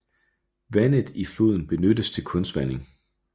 Vandet i floden benyttes til kunstvanding